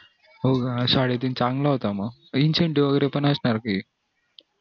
हो साडेतीन चांगला होता म pension वैगेरे पण असणार